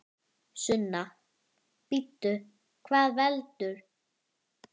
Sunna: Bíddu, hvað veldur?